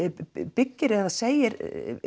byggir eða segir